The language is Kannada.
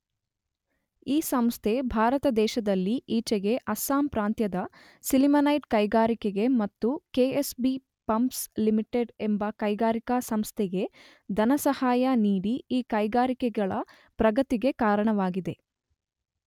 ಈ ಸಂಸ್ಥೆ ಭಾರತ ದೇಶದಲ್ಲಿ ಈಚೆಗೆ ಅಸ್ಸಾಂ ಪ್ರಾಂತ್ಯದ ಸಿಲಿಮೆನೈಟ್ ಕೈಗಾರಿಕೆಗೆ ಮತ್ತು ಕೆ.ಎಸ್.ಬಿ.ಪಂಪ್ಸ್ ಲಿಮಿಟೆಡ್ ಎಂಬ ಕೈಗಾರಿಕಾ ಸಂಸ್ಥೆಗೆ ಧನಸಹಾಯ ನೀಡಿ ಈ ಕೈಗಾರಿಕೆಗಳ ಪ್ರಗತಿಗೆ ಕಾರಣವಾಗಿದೆ.